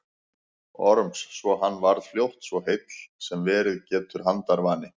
Orms svo hann varð fljótt svo heill sem verið getur handarvani.